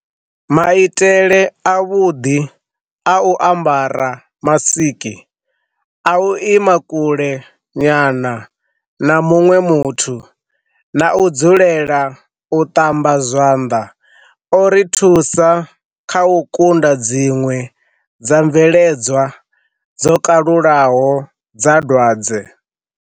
Maitele avhuḓi a u ambara masiki, a u ima kule nyana na muṅwe muthu na u dzulela u ṱamba zwanḓa o ri thusa kha u kunda dziṅwe dza mveledzwa dzo kalulaho dza dwadze.